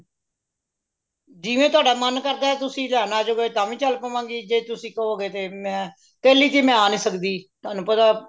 ਜਿਵੇਂ ਤੁਹਾਡਾ ਮਨ ਕਰਦਾ ਤੁਸੀਂ ਲੈਣ ਅਜੋਗੇ ਤਾ ਵੀ ਚਲ ਪਵਾਂਗੀ ਜੇ ਤੁਸੀਂ ਕਵੋਂਗੇ ਤੇ ਮੈਂ ਪਹਿਲੀ ਕਿ ਮੈਂ ਆ ਨਹੀਂ ਸਕਦੀ ਤੁਹਾਨੂੰ ਪਤਾ